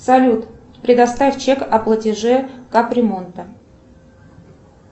салют предоставь чек о платеже кап ремонта